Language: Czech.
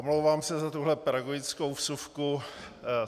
Omlouvám se za tuhle pedagogickou vsuvku.